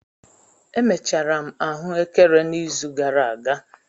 Emechara m ahụekere n'izu gara aga.